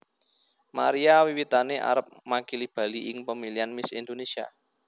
Maria wiwitane arep makili Bali ing pemilihan Miss Indonesia